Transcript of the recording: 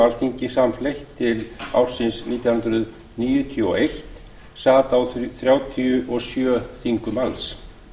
alþingi samfleytt til ársins nítján hundruð níutíu og einn sat á þrjátíu og sjö þingum alls